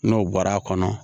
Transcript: N'o bɔra a kɔnɔ